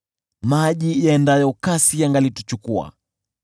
maji yaendayo kasi yangalituchukua.